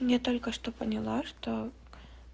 не только что поняла что